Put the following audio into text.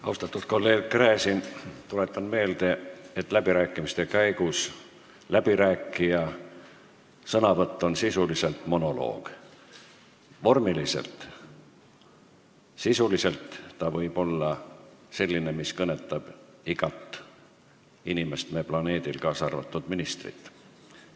Austatud kolleeg Gräzin, tuletan meelde, et läbirääkimiste käigus läbirääkija sõnavõtt on monoloog – vormiliselt, sisuliselt ta võib olla selline, mis kõnetab igat inimest me planeedil, k.a ministrit.